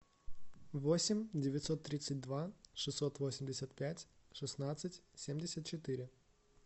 восемь девятьсот тридцать два шестьсот восемьдесят пять шестнадцать семьдесят четыре